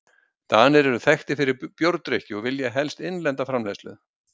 Danir eru þekktir fyrir bjórdrykkju og velja helst innlenda framleiðslu.